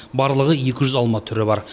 барлығы екі жүз алма түрі бар